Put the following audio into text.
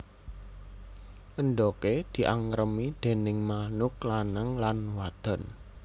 Endhoge diangkremi déning manuk lanang lan wadon